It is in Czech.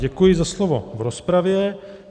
Děkuji za slovo v rozpravě.